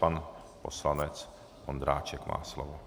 Pan poslanec Ondráček má slovo.